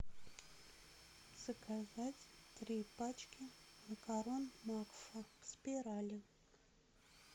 заказать три пачки макарон макфа спирали